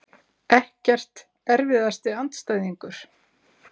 Ekkert Erfiðasti andstæðingur?